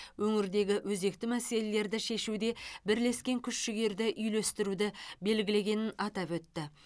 өңірдегі өзекті мәселелерді шешуде бірлескен күш жігерді үйлестіруді белгілегенін атап өтті